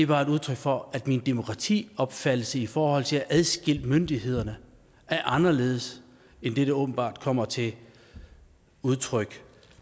bare et udtryk for at min demokratiopfattelse i forhold til at adskille myndighederne er anderledes end det der åbenbart kommer til udtryk